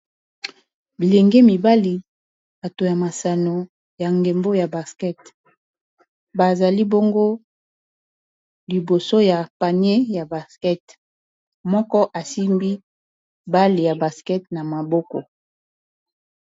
bilenge mibali bato ya masano ya ngembo ya basket bazali bongo liboso ya panier ya basket moko asimbi bale ya baskete na maboko